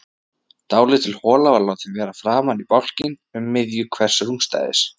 Dálítil hola var látin vera framan í bálkinn um miðju hvers rúmstæðis.